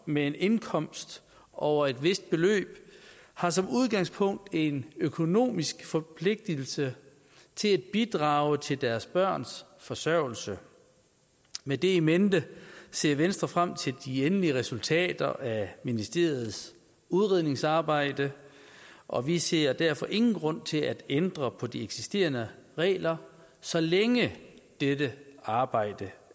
med en indkomst over et vist beløb har som udgangspunkt en økonomisk forpligtelse til at bidrage til deres børns forsørgelse med det in mente ser venstre frem til de endelige resultater af ministeriets udredningsarbejde og vi ser derfor ingen grund til at ændre på de eksisterende regler så længe dette arbejde